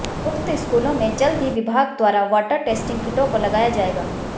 उक्त स्कूलों में जल्द ही विभाग द्वारा वाटर टेस्टिंग किटों को लगाया जाएगा